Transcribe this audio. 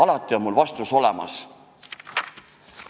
Vastus on mul nagu alati olemas.